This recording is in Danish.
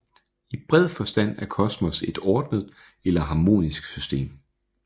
I bred forstand er kosmos et ordnet eller harmonisk system